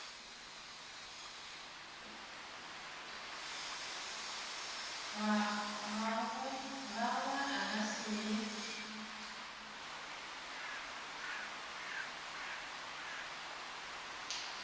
gagwe a ka se re